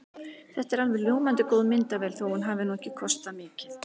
Þetta er alveg ljómandi góð myndavél þó að hún hafi nú ekki kostað mikið.